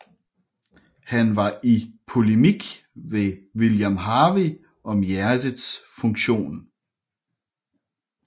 Han var i polemik med William Harvey om hjertets funktion